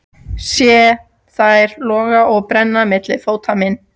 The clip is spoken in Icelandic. Sé þær loga og brenna milli fóta minna.